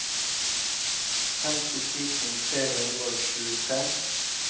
femti tusen tre hundre og tjuetre